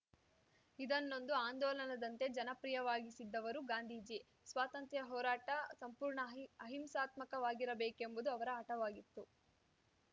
ಇದನ್ನೊಂದು ಆಂದೋಲನದಂತೆ ಜನಪ್ರಿಯವಾಗಿಸಿದ್ದವರು ಗಾಂಧೀಜಿ ಸ್ವಾತಂತ್ರ್ಯ ಹೋರಾಟ ಸಂಪೂರ್ಣ ಅಹಿಂ ಅಹಿಂಸಾತ್ಮಕವಾಗಿರಬೇಕೆಂಬುದು ಅವರ ಹಟವಾಗಿತ್ತು